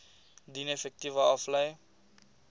dien effekte aflê